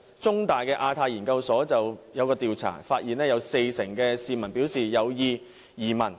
中大亞太研究所早前的調查發現，四成市民表示有意移民。